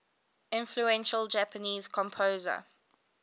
influential japanese composer